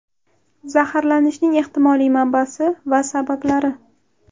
Zaharlanishning ehtimoliy manbasi va sabablari.